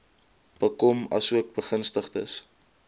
bekom asook begunstigdes